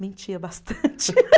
Mentia bastante.